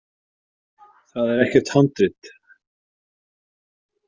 Það er ekkert handrit.